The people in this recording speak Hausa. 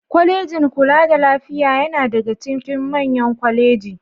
Kwalejin kula da lafiya yana daga cikin manyan kwaleji.